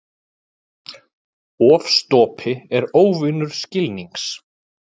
Ofstopi er óvinur skilnings.